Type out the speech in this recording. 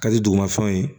Ka di duguma fɛnw ye